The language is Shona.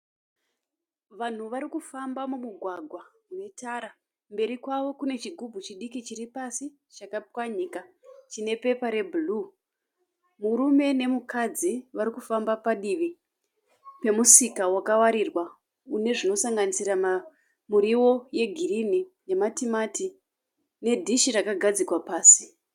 Vanhu varikufamba mumugwagwa unetara. Kumberi kwavo kune chigumbu chidiki chiripasi chakapfanyika chinepepa rebhuruwu. Murume nemukadzi varikufamba padivi pemusika wakawarirwa unezvinosanganisira muriwo yegirinhi nematimati nedhishi rakagadzikwa pasi.